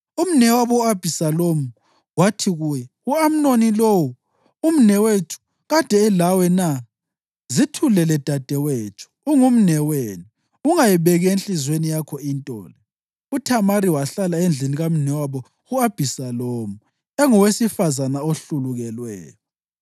Umnewabo u-Abhisalomu wathi kuye, “U-Amnoni lowo, umnewenu, kade elawe na? Zithulele dadewethu; ungumnewenu. Ungayibeki enhliziyweni yakho into le.” UThamari wahlala endlini kamnewabo u-Abhisalomu, engowesifazane ohlulukelweyo.